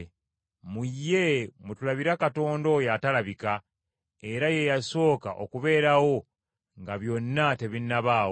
Mu ye mwe tulabira Katonda oyo atalabika, era ye yasooka okubeerawo nga byonna tebinnabaawo.